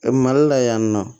Mali la yan nɔ